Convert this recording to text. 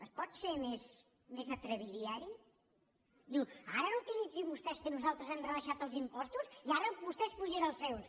es pot ser més atrabiliari diu ara no utilitzin vostès que nosaltres hem rebaixat els impostos i ara vostès apugen els seus